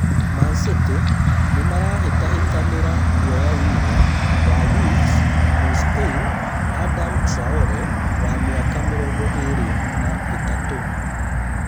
Man-City nĩmarahĩtahĩtanĩra kuoya wing’a wa Wolves mũ-spain Adama Traore wa mĩaka mĩrongo ĩĩrĩ na ĩtatũ